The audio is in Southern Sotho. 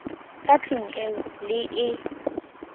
ka tlung eo le e